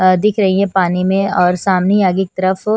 दिख रही है पानी में और सामने आगे की तरफ --